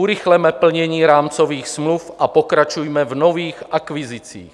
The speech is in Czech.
Urychleme plnění rámcových smluv a pokračujme v nových akvizicích.